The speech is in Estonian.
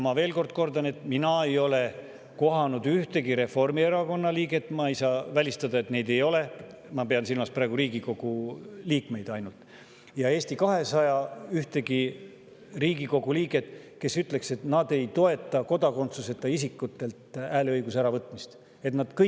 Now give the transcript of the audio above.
Ma veel kord kordan, et mina ei ole kohanud ühtegi Reformierakonna liiget – ma pean silmas praegu ainult Riigikogu liikmeid – ega ka ühtegi Riigikogu liiget Eesti 200‑st, kes ütleks, et ta ei toeta kodakondsuseta isikutelt hääleõiguse äravõtmist, kuigi ma ei saa välistada, et neid on.